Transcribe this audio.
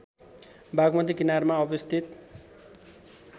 बागमती किनारमा अवस्थित